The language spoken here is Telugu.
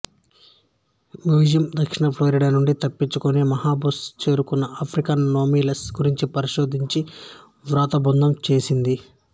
మ్యూజియం దక్షిణ ఫ్లోరిడా నుండి తప్పించుకుని బహమాస్ చేరుకున్న ఆఫ్రికన్ సెమినోల్స్ గురించి పరిశోధించి వ్రాతబద్ధం చేసింది